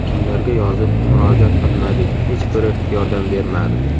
Kimlarga yozib, murojaat qilmadik hech biri yordam bermadi.